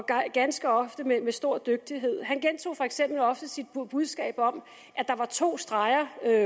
ganske ofte med stor dygtighed han gentog for eksempel ofte sit budskab om at der var to streger